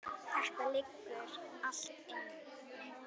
Þetta liggur allt inni